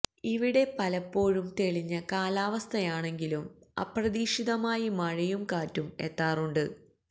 ഇവിടെ പലപ്പോഴും തെളിഞ്ഞ കാലാവസ്ഥയാണെങ്കിലും അപ്രതീക്ഷിതമായി മഴയും കാറ്റും എത്താറുണ്ട്